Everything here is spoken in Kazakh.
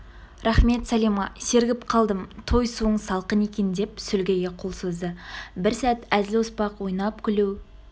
рақмет сәлима сергіп қалдым той суың салқын екен деп сүлгіге қол созды бір сәт әзіл-оспақ ойнап-күлу